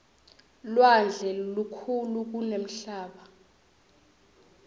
lwandle lukhulu kunemhlaba